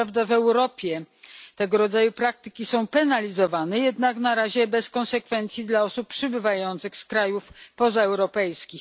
Co prawda w Europie tego rodzaju praktyki są karane, jednak na razie bez konsekwencji dla osób przybywających z krajów pozaeuropejskich.